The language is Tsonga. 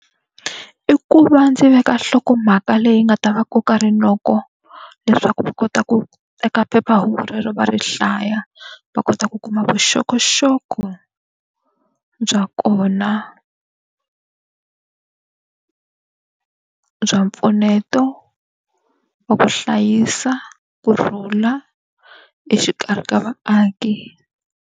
I ku va ndzi veka nhlokomhaka leyi nga ta va koka rinoko leswaku va kota ku teka phephahungu rero va ri hlaya, va kota ku kuma vuxokoxoko bya kona bya mpfuneto wa ku hlayisa kurhula exikarhi ka vaaki.